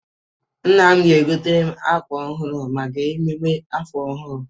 Nna m ga-egoteere m akwa ọhụrụ maka emume afọ ọhụrụ.